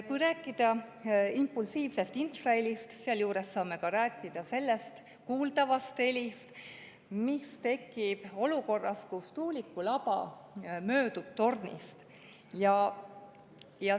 Kui rääkida impulsiivsest infrahelist, siis saame rääkida ka sellest kuuldavast helist, mis tekib olukorras, kus tuuliku laba möödub tornist.